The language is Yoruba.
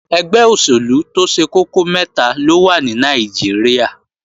Ẹgbẹ́ òṣèlú tó ṣe kókó mẹ́ta ló wà ní Nàìjíríà